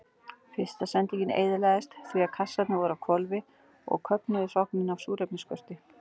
Fyrsta sendingin eyðilagðist því að kassarnir voru á hvolfi og köfnuðu hrognin af súrefnisskorti.